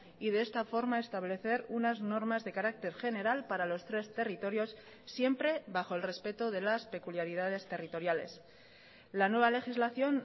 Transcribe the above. y de esta forma establecer unas normas de carácter general para los tres territorios siempre bajo el respeto de las peculiaridades territoriales la nueva legislación